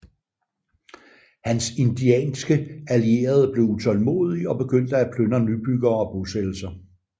Hans indianske allierede blev utålmodige og begyndte at plyndre nybyggere og bosættelser